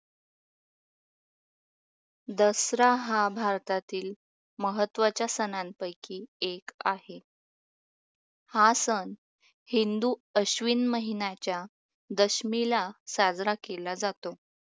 दसरा हा भारतातील महत्वाच्या सणांपैकी एक आहे. हा सण हिंदू अश्विन महिन्याच्या दशमीला साजरा केला जातो.